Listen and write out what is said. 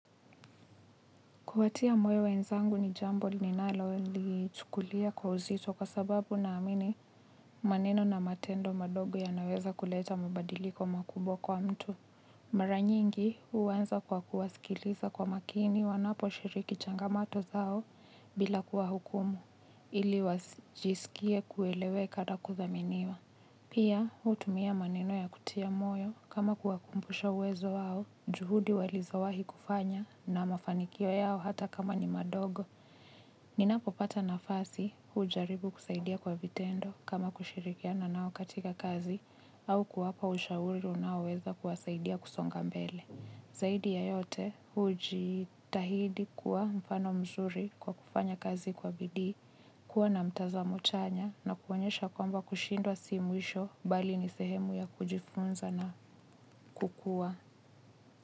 Kuwatia moyo wenzangu ni jambo ninalo lichukulia kwa uzito kwa sababu na amini maneno na matendo madogo ya naweza kuleta mabadiliko makubwa kwa mtu. Mara nyingi huwanza kwa kuwasikiliza kwa makini wanapo shiriki changamato zao bila kuwa hukumu ili wajisikie kueleweka na kudhaminiwa. Pia, hutumia maneno ya kutia moyo kama kuwakumbusha uwezo wao, juhudi walizo wahi kufanya na mafanikio yao hata kama ni madogo. Ninapo pata nafasi hujaribu kusaidia kwa vitendo kama kushirikiana nao katika kazi au kuwapa ushauru unao weza kuwasaidia kusonga mbele. Zaidi ya yote hujitahidi kuwa mfano mzuri kwa kufanya kazi kwa bidii, kuwa na mtazamo chanya na kuonyesha kwamba kushindwa si mwisho bali ni sehemu ya kujifunza na kukuwa.